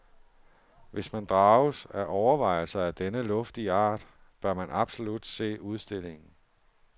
Hvis man drages af overvejelser af denne luftige art, bør man absolut se udstillingen.